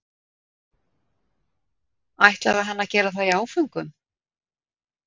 ætlaði hann að gera það í áföngum?